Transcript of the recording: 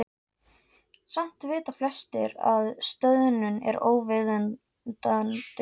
Samt vita flestir að stöðnun er óviðunandi.